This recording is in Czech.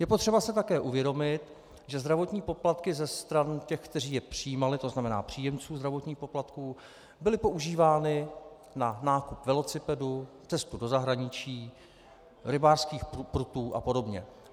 Je potřeba si také uvědomit, že zdravotní poplatky ze stran těch, kteří je přijímali, to znamená příjemců zdravotních poplatků, byly používány na nákup velocipedů, cestu do zahraničí, rybářských prutů a podobně.